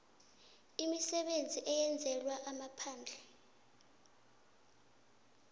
imisebenzi eyenzelwa amaphandle